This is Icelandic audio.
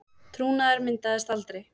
Trúnaður myndaðist aldrei